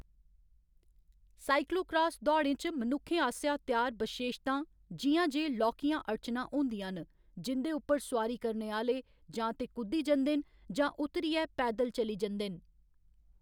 Cyclocross दौड़ें च मनुक्खें आसेआ त्यार बशेशतां जि'यां जे लौह्‌‌‌कियां अड़चनां होंदियां न जिं'दे उप्पर सुआरी करने आह्‌‌‌ले जां ते कुद्दी जंदे न जां उतरियै पैदल चली जंदे न।